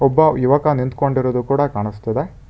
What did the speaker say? ಒಬ್ಬ ಯುವಕ ನಿಂತ್ಕೊಂಡಿರೋದು ಕೂಡ ಕಾಣುಸ್ತಿದೆ.